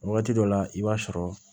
Wagati dɔ la i b'a sɔrɔ